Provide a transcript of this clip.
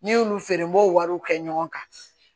N'i y'olu feere n b'o wariw kɛ ɲɔgɔn kan